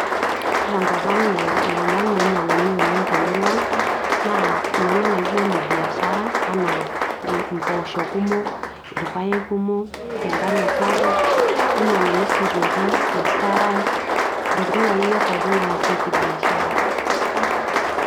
ore tenkop ang ilolan oinyiang'uni oleng te murua ang naa ilolan laijo ile biashara, anaa impoosho kumok, irpaek kumok, engano sapuk, ninyiang'uni sii aitoki ilkarash intokitin akeyie pookin naasieki biashara.